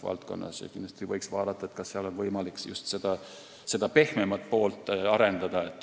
Kindlasti võiks vaadata, kas seal on võimalik just pehmemat poolt arendada.